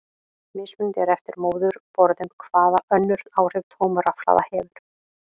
Mismunandi er eftir móðurborðum hvaða önnur áhrif tóm rafhlaða hefur.